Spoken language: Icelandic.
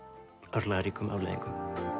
örlagaríkum afleiðingum